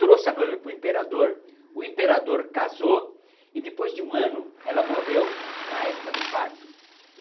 Trouxe a noiva para o imperador, o imperador casou e depois de um ano ela morreu na época do parto.